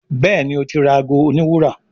Béèni o tí ra àgọ òní wúrà.